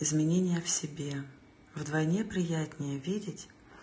изменения в себе вдвойне приятнее видеть